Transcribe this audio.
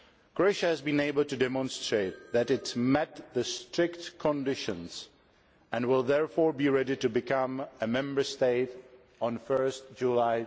Croatia has been able to demonstrate that it met the strict conditions and will therefore be ready to become a Member State on 1 July